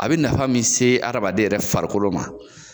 A bɛ nafa min se hadamaden yɛrɛ farikolo ma.